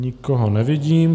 Nikoho nevidím.